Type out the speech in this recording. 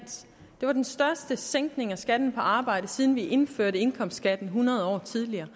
det var den største sænkning af skatten på arbejde siden vi indførte indkomstskatten hundrede år tidligere